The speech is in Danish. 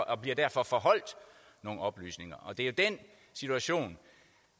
og bliver derfor forholdt nogle oplysninger det er den situation